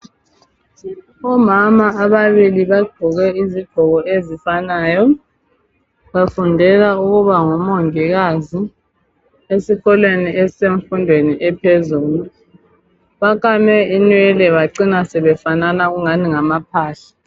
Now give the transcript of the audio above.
Omama ababili bagqoke izigqoko ezifanayo. Bafundela ubongikazi esikolo semfundo ephezulu. Bakame inwele. Bacina sebefanana angathi ngamaphahla.